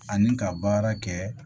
Ani ka baara kɛ